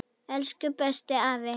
Elsku, besti afi.